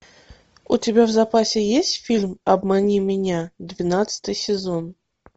у тебя в запасе есть фильм обмани меня двенадцатый сезон